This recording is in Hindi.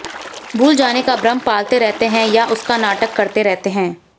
भूल जाने का भ्रम पालते रहते हैं या उसका नाटक करते रहते हैं